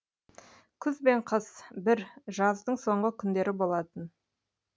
күз бен қыс бір жаздың соңғы күндері болатын